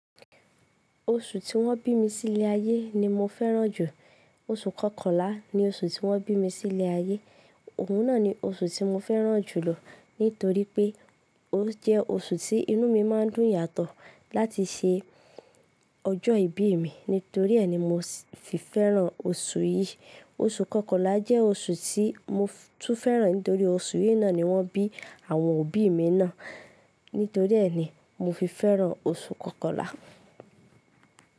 Oṣù tí wọ́n bí mi sí ilé ayé ni mo fẹ́ràn jù. Oṣù Kọkànlá ni oṣù tí wọ́n bí mi sí ilé ayé, òun náà ni oṣù tí mo fẹ́ràn jù lọ nítorí pé ó jẹ́ oṣù tí inú mi máa ń dùn yàtọ̀ láti ṣe ọjọ́ ìbí mi. Nítorí ẹ́ ni mo fi fẹ́ràn oṣù yìí. Oṣù Kọkànlá jẹ́ oṣù tí mo tún fẹ́ràn nítorí oṣù yìí náà ni wọ́n bí àwọn òbí mi náà. Nítorí ẹ́ ni mo fi fẹ́ràn oṣù Kọkànlá.